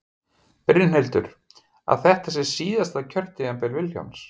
Brynhildur: Að þetta sé síðasta kjörtímabil Vilhjálms?